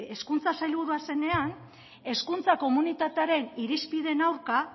hezkuntza sailburua zenean hezkuntza komunitatearen irizpideen aurka